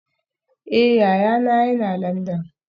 Eh, yayana yana Landan